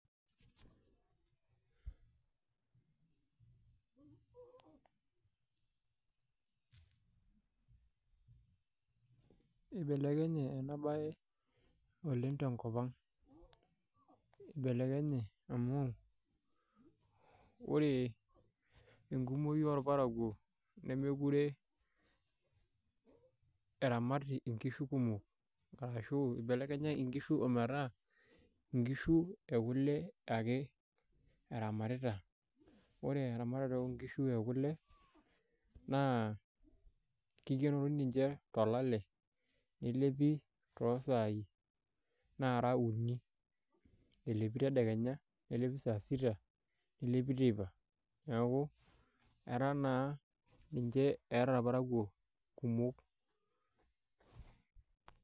pause eibelekenye ena baye oleng tenkopang eibelekenye amu ore enkumoi oorparakuo nemekure eramat inkishu kumok Arashuu ebelekenya inkishu ometaa inkishu ekule ake eramatita ore eramatare oonkishu ekule naa keikenori ninche tolale neleli toosai naara uni elepi tedekenya nelepi saa sita nelepi teipa neeku etaa naa ninche eeta irparakuo kumok .